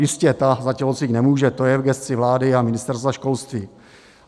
Jistě, ta za tělocvik nemůže, to je v gesci vlády a Ministerstva školství.